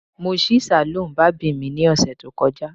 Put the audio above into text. Mo ṣí saloon barbing mi ni ọsẹ to kọja